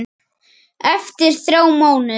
Eftir þrjá mánuði?